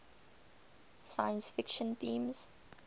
science fiction themes